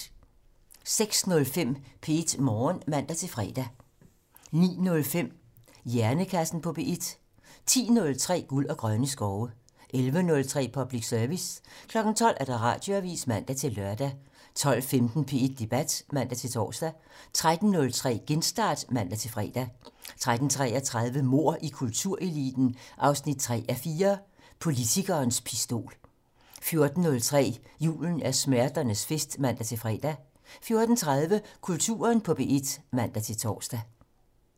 06:05: P1 Morgen (man-fre) 09:05: Hjernekassen på P1 10:03: Guld og grønne skove 11:03: Public Service 12:00: Radioavisen (man-lør) 12:15: P1 Debat (man-tor) 13:03: Genstart (man-fre) 13:33: Mord i kultureliten 3:4 - Politikerens pistol 14:03: Julen er smerternes fest (man-fre) 14:30: Kulturen på P1 (man-tor)